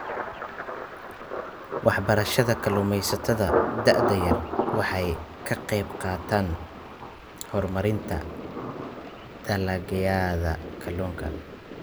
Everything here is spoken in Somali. Waxbarashada kalluumaysatada da'da yar waxay ka qaybqaadataa horumarinta dalagyada kalluunka.